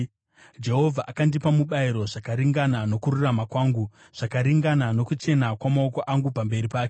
Jehovha akandipa mubayiro zvakaringana nokururama kwangu, zvakaringana nokuchena kwamaoko angu pamberi pake.